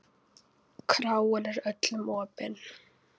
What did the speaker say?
Kráin er öllum opin.